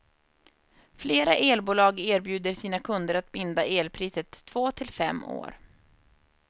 Flera elbolag erbjuder sina kunder att binda elpriset två till fem år.